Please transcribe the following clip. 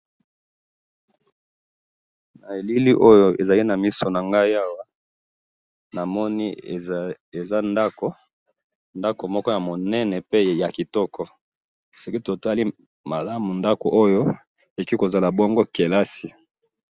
na elili oyo ezali na miso na ngai awa, namoni eza ndako, ndako moko ya monene pe ya kitoko, soki totali malamu ndako oyo ekoki kozala bongo kelasi